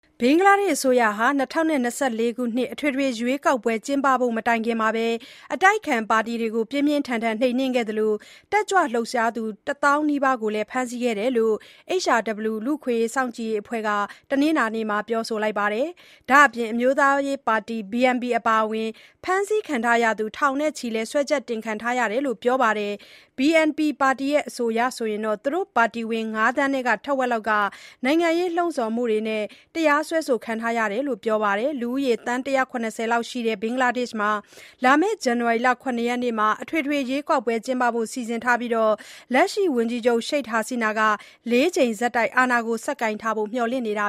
ဘင်္ဂလားဒေ့ရှ်အစိုးရဟာ ၂၀၂၄ အထွေထွေရွေးကောက်ပွဲ မတိုင်ခင်အတိုက်အခံ ပါတီတွေကို ပြင်းပြင်းထန်ထန် နှိမ်နှင်းခဲ့သလို တက်ကြွလှုပ်ရှားသူ ၁၀,၀၀၀ နီးပါးကိုဖမ်းဆီးခဲ့တယ်လို HRW လူ့အခွင့်အရေးစောင့်ကြည့်အဖွဲ့ က တနင်္လာနေ့မှာပြောပါတယ်။ ဒါ့အပြင် အမျိုးသားရေးပါတီ (BNP) အပါအဝင် ဖမ်းဆီးခံရသူ ထောင်နဲ့ချီပြီး စွဲချက်တင်ခံထားရတယ်လို့လည်း ပြောပါတယ်။ BNP အဆိုအရတော့ သူတို့ပါတီဝင် ၅ သန်းထဲက ထက်ဝက်လောက် နိုင်ငံရေးလှုံ့ဆော်မှုနဲ့ တရားစွဲဆိုခံထားရတယ်လို့ပြောတာပါ။ လူဦးရေ သန်း ၁၇၀ လောက်ရှိတဲ့ ဘင်္ဂလားဒေ့ရှ်မှာ လာမယ့် ဇန်နဝါရီ ၇ ရက်နေ့မှာ အထွေထွေရွေးကောက်ပွဲ ကျင်းပဖို့စီစဉ်ထားပြီး လက်ရှိ ၀န်ကြီးချုပ် Sheikh Hasina က ၄ ကြိမ်ဆက်တိုက် အာဏာကိုဆက်ကိုင်ထားဖို့ မျှော်လင့်နေတာ